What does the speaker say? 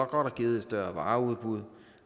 godt give et større vareudbud